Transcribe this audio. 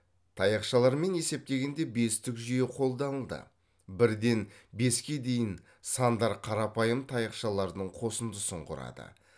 таяшалармен есептегенде бестік жүйе қолданылды бірден беске дейін сандар қарапайым таяқшалардың қосындысын құрады